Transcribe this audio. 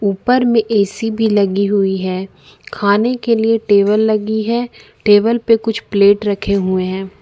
ऊपर में ए_सी भी लगी हुई है खाने के लिए टेबल लगी है टेबल पे कुछ प्लेट रखे हुए हैं।